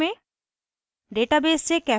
एक नियत कार्य में